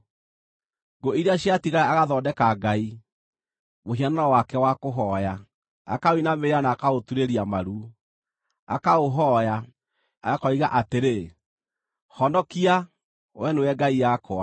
Ngũ iria ciatigara agathondeka ngai, mũhianano wake wa kũhooya; akaũinamĩrĩra na akaũturĩria maru. Akaũhooya, akoiga atĩrĩ, “Honokia; wee nĩwe ngai yakwa.”